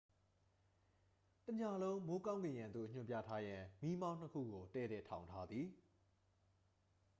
တစ်ညလုံး မိုးကောင်းကင်ယံသို့ ညွှန်ပြထားရန် မီးမောင်းနှစ်ခုကို တည့်တည့်ထောင်ထားသည်